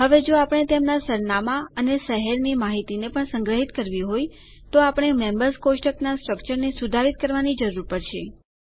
હવે જો આપણે તેમનાં સરનામાં અને શહેર માહિતીને પણ સંગ્રહિત કરવી હોય તો આપણે મેમ્બર્સ કોષ્ટકનાં સ્ટ્રકચરને સુધારિત કરવાની જરૂર પડશે